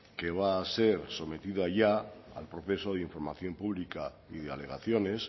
que va a ser sometido a ya al proceso de información pública y de alegaciones